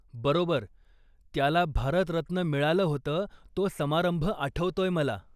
बरोबर, त्याला भारतरत्न मिळालं होतं तो समारंभ आठवतोय मला.